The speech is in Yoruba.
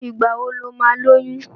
Ìgbà wo lo máa lóyún?